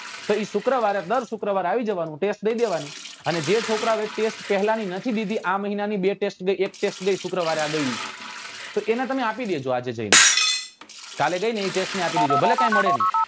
તો એ શુક્રવારે દર શુક્રવારે આવી જાવા નું test દઈ દેવાની અને જે છોકરાઓ એ test પહેલા ની નથી દીધી આ મહિના ની બે test જે એક test જે આ શુક્રવારે ગઈ એ તો એને તમે આપી દેજો આજે જઈ ને કાલે ગઈ ને એ test ને આપી દેજો ભલે કઈ મળે નઈ